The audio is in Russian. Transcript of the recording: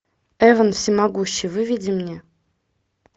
эвен всемогущий выведи мне